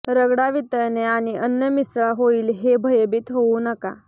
रगडा वितळणे आणि अन्न मिसळा होईल हे भयभीत होऊ नका